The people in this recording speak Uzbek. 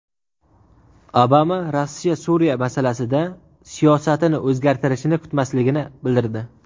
Obama Rossiya Suriya masalasida siyosatini o‘zgartirishini kutmasligini bildirdi.